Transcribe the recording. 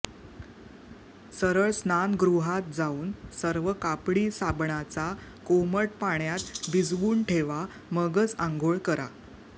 सरळ स्नानगृहात जाऊन सर्व कापडी साबणाचा कोमट पाण्यात भिजवून ठेवा मगच अंघोळ करा